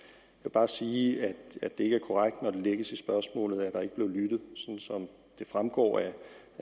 bare sige at det ikke er korrekt når der lægges i spørgsmålet at der ikke blev lyttet som det fremgår af